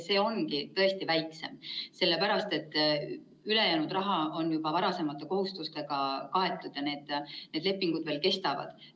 See ongi tõesti väiksem, sest ülejäänud raha on juba varasemate kohustustega kaetud ja need lepingud veel kestavad.